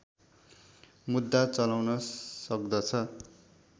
मुद्दा चलाउन सक्दछ